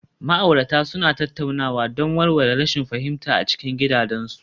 Ma'aurata suna tattaunawa don warware rashin fahimta a cikin gidajensu